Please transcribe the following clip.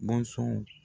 Bɔnsɔnw